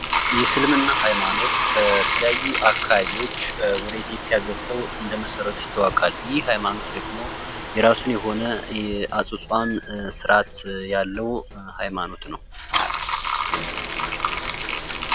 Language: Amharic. የእስልምና ሃይማኖት አካባቢዎች